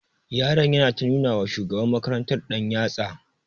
Yaron yana ta nuna wa shugaban makarantar ɗanyatsa.